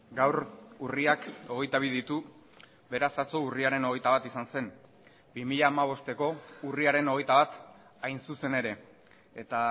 gaur urriak hogeita bi ditu beraz atzo urriaren hogeita bat izan zen bi mila hamabosteko urriaren hogeita bat hain zuzen ere eta